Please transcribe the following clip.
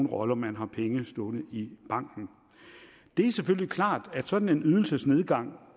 rolle om man har penge stående i banken det er selvfølgelig klart at sådan en ydelsesnedgang